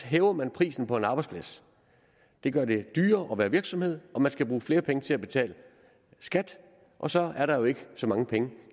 hæver man prisen på en arbejdsplads det gør det dyrere at være virksomhed og man skal bruge flere penge til at betale skat og så er der jo ikke så mange penge